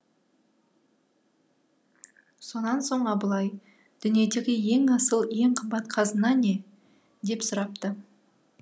сонан соң абылай дүниедегі ең асыл ең қымбат қазына не деп сұрапты